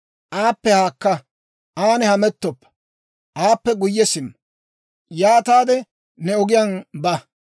aappe haakka; an hamettoppa; aappe guyye simma; yaataade ne ogiyaan ba.